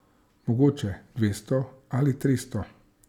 Mogoče dvesto ali tristo.